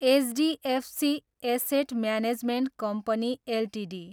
HDFC asset management company Ltd